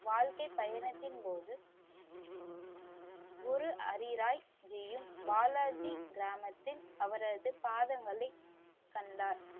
வாழ்க்கை பயணத்தின் போது குரு ஹரிராய் ஜீயும் பாலாஜி கிராமத்தில் அவரது பாதங்களை கண்டார்.